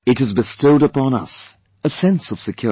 It has bestowed upon us a sense of security